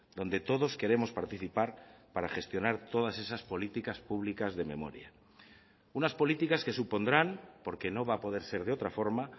donde todos queremos participar para gestionar todas esas políticas públicas de memoria unas políticas que supondrán porque no va a poder ser de otra forma